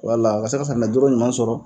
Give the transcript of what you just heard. Wala ka se ka safinɛ dɔrɔ ɲuman sɔrɔ